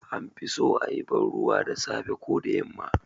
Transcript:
An fi so a yi banruwa da safe ko da yamma